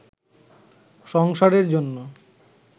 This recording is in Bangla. সংসারের জন্য